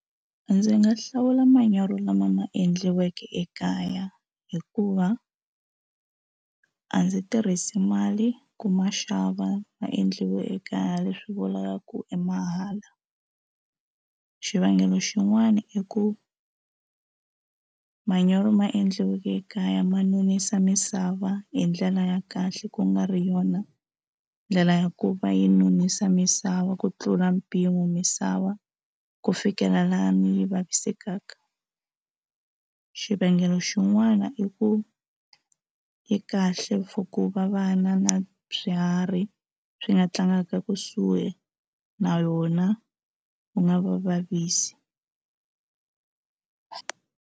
Ndzi nga hlawula manyoro lama ma endliweke ekaya hikuva a ndzi tirhisi mali ku ma xava ma endliwe ekaya leswi vulaka ku i mahala xivangelo xin'wani i ku manyoro ma endliweke ekaya ma nonisa misava hi ndlela ya kahle ku nga ri yona ndlela ya ku va yi nonisa misava ku tlula mpimo misava ku fikela laha mi vavisekaka xivangelo xin'wana i ku yi kahle for ku va vana na byi swiharhi swi nga tlangaka kusuhi na yona yi nga va vavisi.